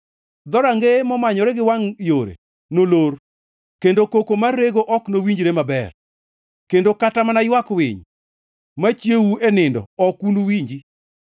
Dhorangeye momanyore gi wangʼ yore nolor kendo koko mar rego ok nowinjre maber; kendo kata mana ywak winy machiewou e nindo ok unuwinji.